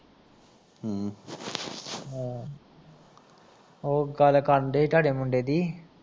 ਓ ਗੱਲ ਕਰਨ ਡਏ ਹੀ ਤਾਡੇ ਮੁੰਡੇ ਦੀ